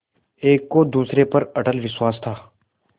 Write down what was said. एक को दूसरे पर अटल विश्वास था